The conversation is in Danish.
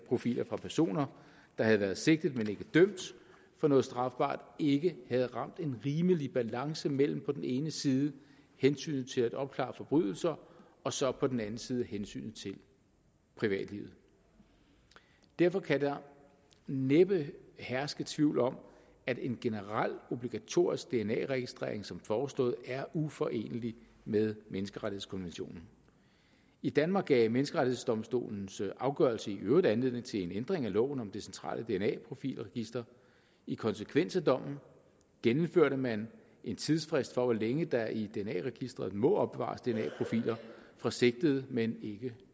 profiler fra personer der havde været sigtet men ikke dømt for noget strafbart ikke havde ramt en rimelig balance mellem på den ene side hensynet til at opklare forbrydelser og så på den anden side hensynet til privatlivet derfor kan der næppe herske tvivl om at en generel obligatorisk dna registrering som foreslået er uforenelig med menneskerettighedskonventionen i danmark gav menneskerettighedsdomstolens afgørelse i øvrigt anledning til en ændring af loven om det centrale dna profilregister i konsekvens af dommen gennemførte man en tidsfrist for hvor længe der i dna registeret må opbevares dna profiler fra sigtede men ikke